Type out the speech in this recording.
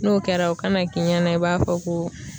N'o kɛra o kana k'i ɲɛna i b'a fɔ ko